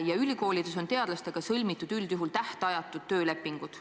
Ja ülikoolides on teadlastega sõlmitud üldjuhul tähtajatud töölepingud.